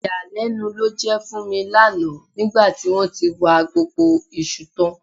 Ìyàlẹ́nu ló jẹ́ fún mi lánàá nígbà tí wọ́n tí wa gbogbo iṣu tán